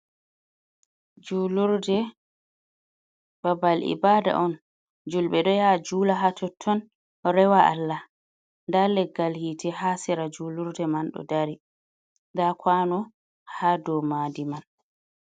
Julurde babal ibada on, julbe do ya jula ha totton rewa allah, da leggal hite ha sera julurde man do dari dakwano ha domadi man.